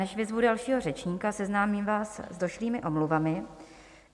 Než vyzvu dalšího řečníka, seznámím vás s došlými omluvami.